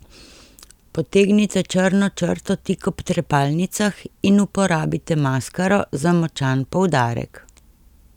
Potegnite črno črto tik ob trepalnicah in uporabite maskaro za močan poudarek.